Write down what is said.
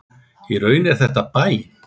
Í raun er þetta bæn.